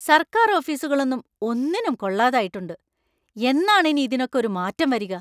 സർക്കാർ ഓഫീസുകളൊന്നും ഒന്നിനും കൊള്ളാതായിട്ടുണ്ട്; എന്നാണ് ഇനി ഇതിനൊക്കെ ഒരു മാറ്റം വരിക?